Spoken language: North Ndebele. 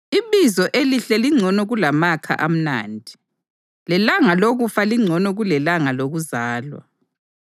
Ibizo elihle lingcono kulamakha amnandi, lelanga lokufa lingcono kulelanga lokuzalwa.